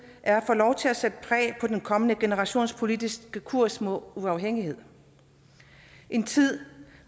er at få lov til at sætte præg på den kommende generations politiske kurs mod uafhængighed en tid